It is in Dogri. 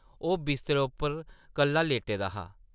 ओह् बिस्तरे उप्पर कल्ला लेटे दा हा ।